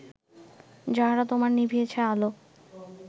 যাহারা তোমার নিভিয়েছে আলো